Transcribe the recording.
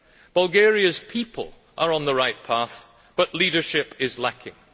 Bulgaria's people are on the right path, but leadership is lacking.